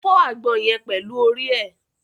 O fọ àgbọn yẹn pẹlú orí ẹ.